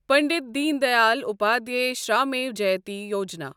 Pandit Deen Dayal Upadhyay Shramev Jayate Yojana